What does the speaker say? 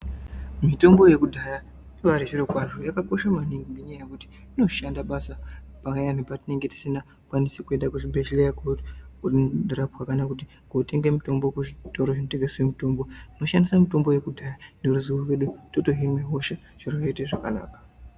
Mitombo yekudhaya ibaari zviro kwazvo, yakakosha maningi ngenyaya yekuti inoshanda basa payani petinenge tisina kukwanisa kuende kuchibhedhlera kunorapwa kana kuti kotenge mitombo kuzvitoro zvinotengese mutombo. Tinoshandise mitombo yekudhaya neruzivo rwedu, totohina hosha, zviro zvoite zvakanaka.